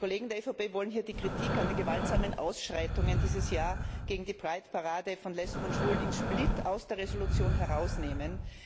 Die Kollegen der EVP wollen hier die Kritik an den gewaltsamen Ausschreitungen dieses Jahr gegen die Pride Parade von Lesben und Schwulen in Split aus der Entschließung herausnehmen.